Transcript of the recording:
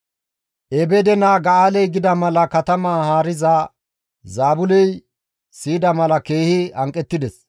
Ebeede naa Ga7aaley gida mala katamaa haariza Zaabuley siyida mala keehi hanqettides.